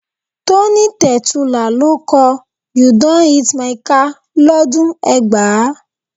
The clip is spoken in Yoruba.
Tony Tetuila ló kọ "You don hit my car" lọ́dún ẹgbàá.